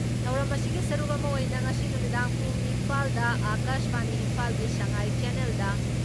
ꯊꯧꯔꯝ ꯑꯁꯤꯒꯤ ꯁꯔꯨꯛ ꯑꯃ ꯑꯣꯏꯅ ꯉꯁꯤ ꯅꯨꯃꯤꯗꯥꯡ ꯄꯨꯡ ꯅꯤꯄꯥꯜ ꯗ ꯑꯀꯥꯁꯕꯥꯅꯤ ꯏꯝꯐꯥꯜꯒꯤ ꯁꯉꯥꯏ ꯆꯦꯟꯅꯦꯜꯗ